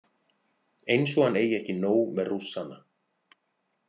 Eins og hann eigi ekki nóg með Rússana.